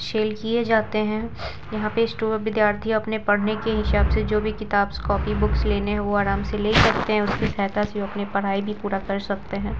Cell किये जाते हैं यहाँ पे विद्यार्थी अपने पढ़ने के हिसाब से जो भी किताब-कॉपी बुक्स लेने हैं वो आराम से ले सकते हैं उसके सहायता से वो अपने पढ़ाई भी पूरा कर सकते हैं।